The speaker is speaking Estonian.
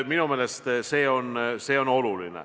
Minu meelest see on oluline.